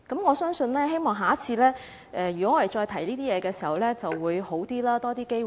我相信，也希望下次再提出這些問題時情況會比較好，會有較多機會。